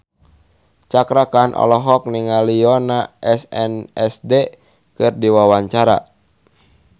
Cakra Khan olohok ningali Yoona SNSD keur diwawancara